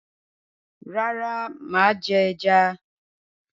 Rárá, mà á jẹ ẹja.